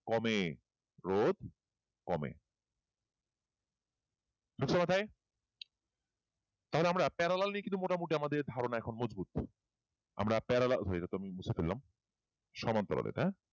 কমে রোধ কমে ঢুকছে মাথায় তাহলে আমরা parallel নিয়ে ধারনা এখন মজবুত আমরা parallel হয়ে মুছে ফেললাম সমান্তরালের হ্যাঁ